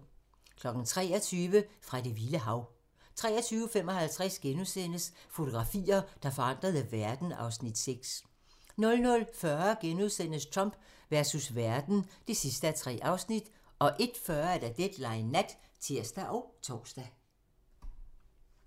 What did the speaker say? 23:00: Fra det vilde hav 23:55: Fotografier, der forandrede verden (Afs. 6)* 00:40: Trump versus verden (3:3)* 01:40: Deadline Nat (tir og tor)